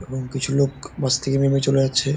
এবং কিছু লোক বাস থেকে নেমে চলে যাচ্ছে।